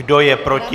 Kdo je proti?